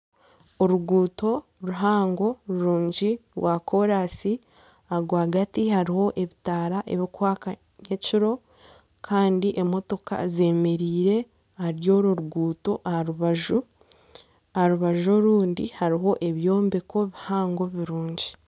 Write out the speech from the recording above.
Oruguuto ruhango rurungi rwakoorasi rwagati hariho ebitaara ebirikwaka ekiro Kandi emotoka zemereire ahari orwo ruguuto. Aha rubaju orundi hariho ebyombeko bihango birungi.